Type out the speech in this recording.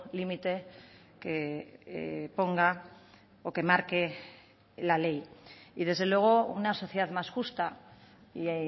límite que ponga o que marque la ley y desde luego una sociedad más justa y